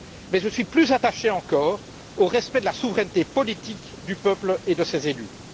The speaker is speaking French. Mais je suis plus attaché encore au respect de la souveraineté politique du peuple et de ses élus.